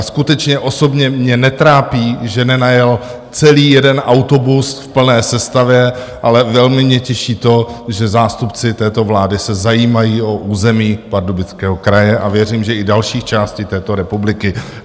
A skutečně osobně mě netrápí, že nenajel celý jeden autobus v plné sestavě, ale velmi mě těší to, že zástupci této vlády se zajímají o území Pardubického kraje, a věřím, že i dalších částí této republiky.